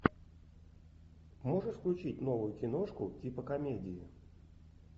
можешь включить новую киношку типа комедии